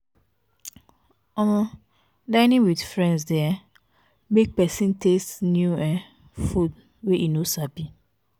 um dinning with friends de um make persin taste new um foods wey e no sabi